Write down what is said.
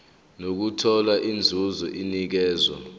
nokuthola inzuzo enikezwa